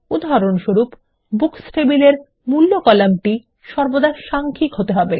উদাহরণস্বরূপ বুকস টেবিলের মূল্য কলামটি সর্বদা সাংখ্যিক হতে হবে